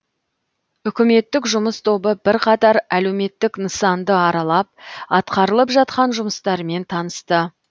үкіметтік жұмыс тобы бірқатар әлеуметтік нысанды аралап атқарылып жатқан жұмыстармен танысты